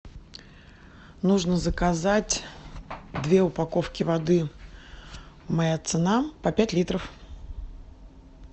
нужно заказать две упаковки воды моя цена по пять литров